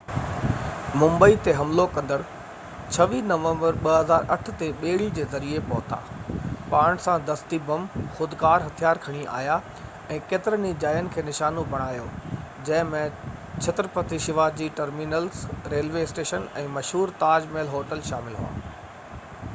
ممبئي تي حملو ڪندڙ 26 نومبر 2008 تي ٻيڙي جي ذريعي پهتا پاڻ سان دستي بم خودڪار هٿيار کڻي آيا ۽ ڪيترين ئي جاين کي نشانو بڻايو جنهن ۾ Chhatrapati Shivaji terminus railway station ۽ مشهور تاج محل هوٽل شامل هئا